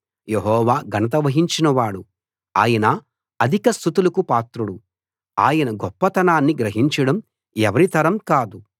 యెహోవా ఘనత వహించినవాడు ఆయన అధిక స్తుతులకు పాత్రుడు ఆయన గొప్పతనాన్ని గ్రహించడం ఎవరి తరం కాదు